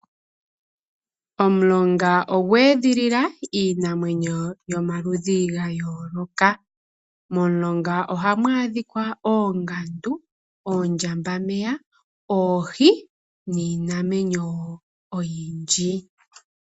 Omulonga ogwee dhili la iinamwenyo yomaludhi gayooloka. Momulonga ohamu adhika oongandu, oondjambameya , oohi niinamwenyo wo oyindji.